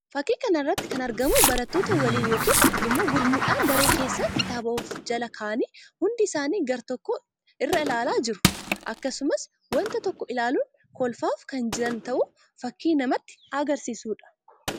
Fakkii kana irratti kan argamu barattoota waliin yookiin immoo gurmuudhaan daree kesssa kitaaba of jala ka'anii hundi isaanii gara tokko irra ilaalaa jiru. Akkasumas wanta tokko ilaaluun kolfaas kan jiran ta'uu fakkii namatti agarsiisuu dha.